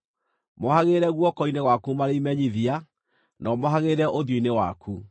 Mohagĩrĩre guoko-inĩ gwaku marĩ imenyithia, na ũmohagĩrĩre ũthiũ-inĩ waku.